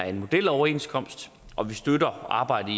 en modeloverenskomst og vi støtter arbejdet